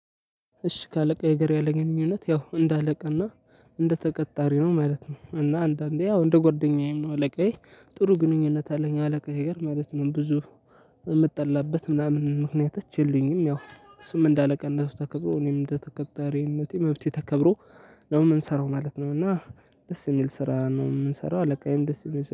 እሺ ከአለቃዬ ጋር ያለኝ ግንኙነት ያው እንደ አለቃና እንደ ተቀጣሪ ነው ማለት ነው። እና አንዳንዴ ያው እንደ ጓደኛዬም ነው አለቃዬ ጥሩ ግንኙነት አለቃዬ ጋር ማለት ነው። ብዙ የምጣላበት ምናምን ምክንያቶች የሉኝም። ያው እሱም እንዳለቃነቱ ተከብሮ እኔም እንደተቀጣሪነቴ መብቴ ተከብሮ ነው የምንሰራው ማለት ነው። እና ደስ የሚል ስራ ነው የምንሰራው አለቃዬም ደስ የሚል